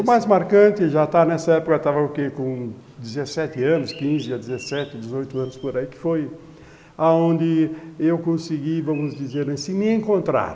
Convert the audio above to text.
O mais marcante já está nessa época, eu estava com dezessete anos, quinze a dezessete, dezoito anos por aí, que foi onde eu consegui, vamos dizer assim, me encontrar.